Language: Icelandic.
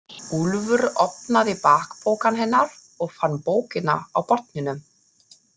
Úlfur opnaði bakpokann hennar og fann bókina á botninum.